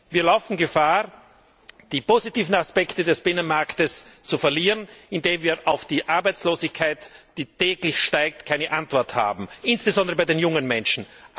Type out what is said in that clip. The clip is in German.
Wir laufen Gefahr, die positiven Aspekte des Binnenmarktes zu verlieren, weil wir auf die Arbeitslosigkeit, die täglich steigt, keine Antwort haben, insbesondere bei den jungen Menschen.